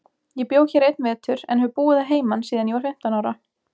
Ég bjó hér einn vetur, en hef búið að heiman síðan ég var fimmtán ára.